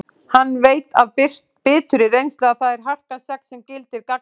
Hann veit af biturri reynslu að það er harkan sex sem gildir gagnvart þeim.